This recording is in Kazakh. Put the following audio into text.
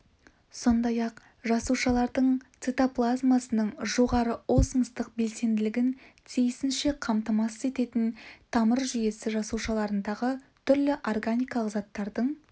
сондай-ақ жасушалардың цитоплазмасының жоғары осмостық белсенділігін тиісінше қамтамасыз ететін тамыр жүйесі жасушаларындағы түрлі органикалық заттардың